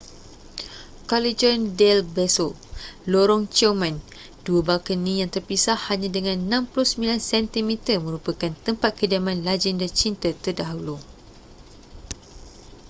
callejon del beso lorong ciuman. dua balkoni yang terpisah hanya dengan 69 sentimeter merupakan tempat kediaman lagenda cinta terdahulu